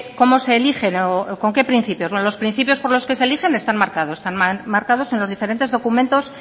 cómo se eligen o con qué principios bueno los principios por los que se elijen están marcados están marcados en los diferentes documentos